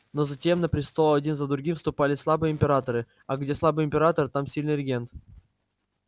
но затем на престол один за другим вступали слабые императоры а где слабый император там сильный регент